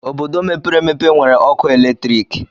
Obodo mepere emepe enwere ọkụ eletrik.